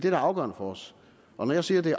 er afgørende for os og når jeg siger at det